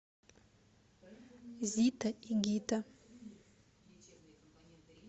зита и гита